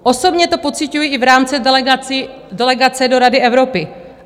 Osobně to pociťuji i v rámci delegace do Rady Evropy.